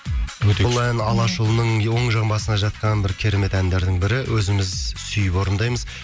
өте күшті бұл ән алашұлының оң жаңбасына жатқан бір керемет әндердің бірі өзіміз сүйіп орындаймыз